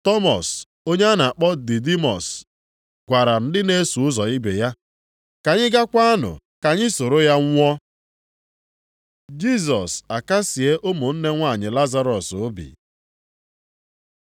Tọmọs, onye a na-akpọ Didimọs, gwara ndị na-eso ụzọ ibe ya, “Ka anyị gakwanụ ka anyị soro ya nwụọ.” Jisọs akasịe ụmụnne nwanyị Lazarọs obi